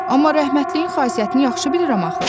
Amma rəhmətliyin xasiyyətini yaxşı bilirəm axı.